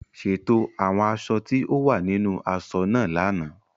Ṣètò àwọn aṣọ tí ó wà nínú aṣọ náà lánàá.